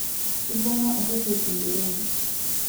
ibunnga oreshet ederoni